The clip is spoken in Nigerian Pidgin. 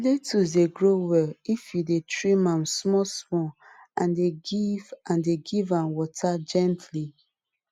lettuce dey grow well if you dey trim am small small and dey give and dey give am water gently